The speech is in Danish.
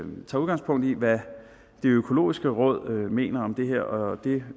man tager udgangspunkt i hvad det økologiske råd mener om det her og det